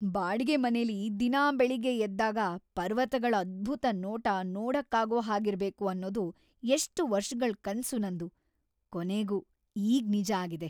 ಬಾಡಿಗೆ ಮನೇಲಿ ದಿನಾ ಬೆಳಿಗ್ಗೆ ಎದ್ದಾಗ ಪರ್ವತಗಳ್ ಅದ್ಭುತ ನೋಟ ನೋಡಕ್ಕಾಗೋ ಹಾಗಿರ್ಬೇಕು ಅನ್ನೋದು ಎಷ್ಟ್‌ ವರ್ಷಗಳ್‌ ಕನ್ಸು ನಂದು, ಕೊನೆಗೂ ಈಗ್ ನಿಜ ಆಗಿದೆ!